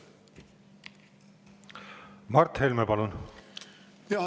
Mart Helme, palun!